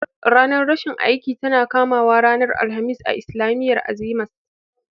Ranar rashin aiki tana kamawa ranar alhamis a islamiyyar Azima's